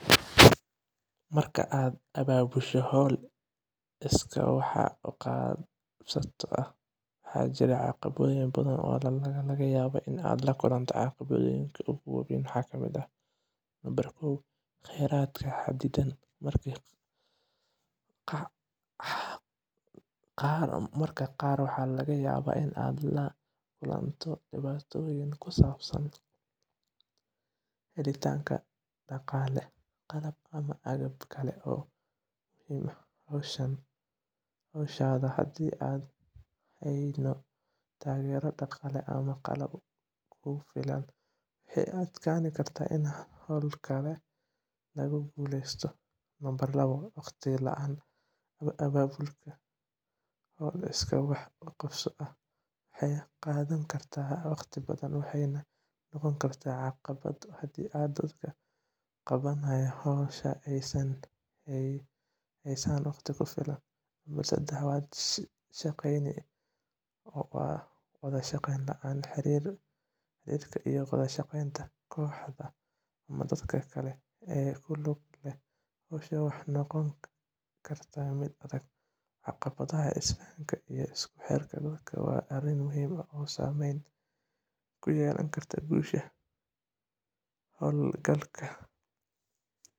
Marka aad abaabusho hawl iskaa wax u qabso ah, waxaa jira caqabado badan oo laga yaabo inaad la kulanto. Caqabadahaas ugu waaweyn waxaa ka mid ah: Khayraadka Xaddidan: Mararka qaar, waxaa laga yaabaa inaad la kulanto dhibaatooyin ku saabsan helitaanka dhaqaale, qalab, ama agab kale oo muhiim u ah howshaada. Haddii aan hayno taageero dhaqaale ama qalab ku filan, waxay adkaan kartaa in hawlgalka lagu guuleysto. Waqti la'aan: Abaabulka hawl iskaa wax u qabso ah waxay qaadan kartaa waqti badan, waxayna noqon kartaa caqabad haddii dadka qabanaya hawsha aysan haysan waqti ku filan. Wada shaqeyn la'aan: Xiriirka iyo wada shaqeynta kooxaha ama dadka kale ee ku lugta leh hawsha waxay noqon kartaa mid adag. Caqabadaha isfahanka iyo isku-xirka dadka waa arrin muhiim ah oo saameyn ku yeelan karta guusha hawlgalka